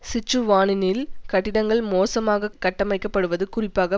சிச்சுவானினில் கட்டிடங்கள் மோசமாக கட்டமைக்கப்படுவது குறிப்பாக